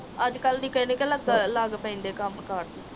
ਅੱਜਕੱਲ੍ਹ ਦੀ ਕਹਿੰਦੀ ਕੇ ਲੱਗ ਲੱਗ ਪੈਂਦੇ ਕੰਮ ਕਾਰਜ ਨੂੰ